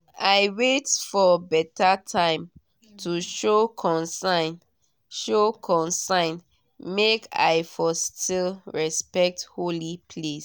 i wait for better time to show concern show concern make i for still respect holy place